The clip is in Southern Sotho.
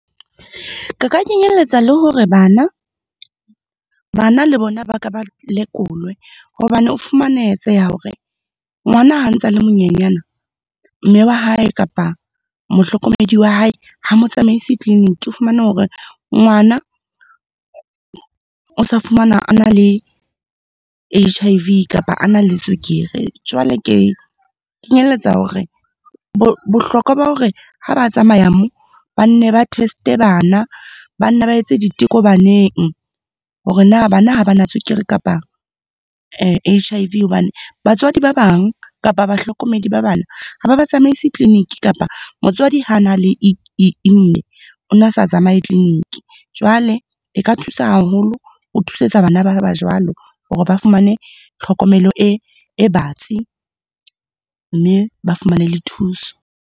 Ke ka kenyelletsa le hore bana le bona ba ke ba lekolwe. Hobane ho fumanetseha hore ngwana ha ntse a le monyenyana, mme wa hae kapa mohlokomedi wa hae ha motsamaisi tleliniki. O fumane hore ngwana, o sa fumana a na le H_I_V kapa a nale tswekere. Jwale ke kenyelletsa hore bohlokwa ba hore ha ba tsamaya moo, bane ba test-e bana, ba ne ba etse diteko baneng, hore na bana ha ba na tswekere kapa H_I_V. Hobane batswadi ba bang kapa bahlokomedi ba bana, ha ba ba tsamaise tleliniki kapa motswadi ha na le o na sa tsamaye tleliniki. Jwale e ka thusa haholo, o thusetsa bana ba hae ba jwalo hore ba fumane tlhokomelo e batsi, mme ba fumane le thuso.